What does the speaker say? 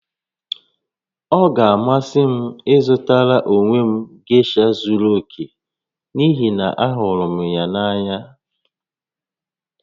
Ọ ga-amasị m ịzụtara onwe m gesha zuru oke n'ihi na ahụrụ m ya n'anya